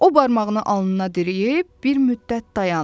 O barmağını alnına dirəyib bir müddət dayandı.